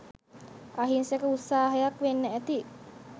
අහිංසක උත්සාහයක් වෙන්න ඇති